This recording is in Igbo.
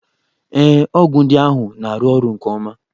Ee, ọgwụ ndị ahụ na-arụ ọrụ nke ọma.